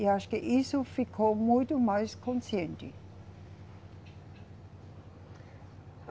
E acho que isso ficou muito mais consciente.